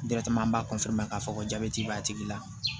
an b'a k'a fɔ ko jabɛti b'a tigi la